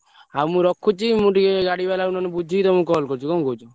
ହଉ ମୁଁ ରଖୁଛି ଆଉ ଗଡିବାଲା ଠାରୁ ବୁଝିକି ତମକୁ call କରୁଛି ବୁଝିଲ ।